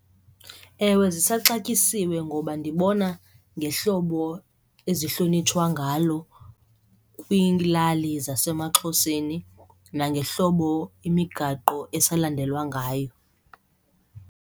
Ewe, zisaxatyisiwe ngoba ndibona ngehlobo ezihlonitshwa ngalo kwiilali zasemaXhoseni nangohlobo imigaqo esalandelwa ngayo.